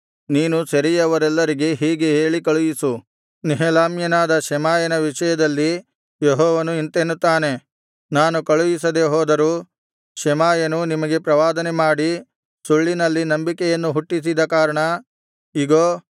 ನೀನು ಸೆರೆಯವರೆಲ್ಲರಿಗೆ ಹೀಗೆ ಹೇಳಿ ಕಳುಹಿಸು ನೆಹೆಲಾಮ್ಯನಾದ ಶೆಮಾಯನ ವಿಷಯದಲ್ಲಿ ಯೆಹೋವನು ಇಂತೆನ್ನುತ್ತಾನೆ ನಾನು ಕಳುಹಿಸದೆ ಹೋದರೂ ಶೆಮಾಯನು ನಿಮಗೆ ಪ್ರವಾದನೆಮಾಡಿ ಸುಳ್ಳಿನಲ್ಲಿ ನಂಬಿಕೆಯನ್ನು ಹುಟ್ಟಿಸಿದ ಕಾರಣ ಇಗೋ